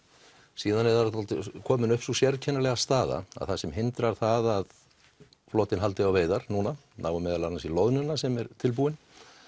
síðan er komin upp sú sérkennilega staða sem hindrar það að flotinn haldi á veiðar núna nái meðal annars í loðnuna sem er tilbúin